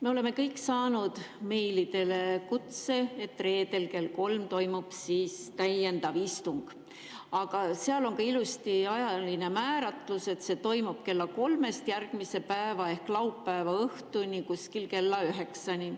Me oleme kõik saanud meilidele kutse, et reedel kell kolm toimub täiendav istung, aga seal on ka ilusti ajaline määratlus, et see toimub kella 3-st järgmise päeva ehk laupäeva õhtuni, kuskil kella 9-ni.